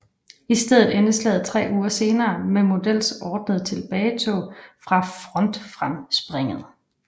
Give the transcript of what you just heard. I stedet endte slaget tre uger senere med Models ordnede tilbagetog fra frontfremspringet